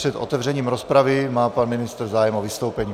Před otevřením rozpravy má pan ministr zájem o vystoupení.